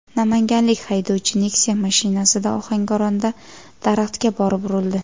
Namanganlik haydovchi Nexia mashinasida Ohangaronda daraxtga borib urildi.